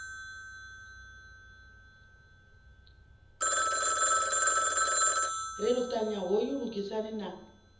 ri luṱanya hoyu lugisani na